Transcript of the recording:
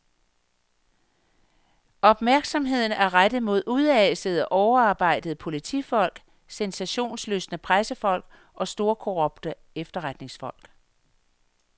Opmærksomheden er rettet mod udasede, overarbejdede politifolk, sensationslystne pressefolk og storkorrupte efterretningsfolk.